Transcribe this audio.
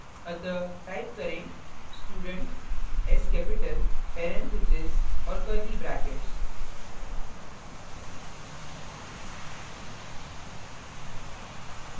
अतः type करें student parenthesis और curly brackets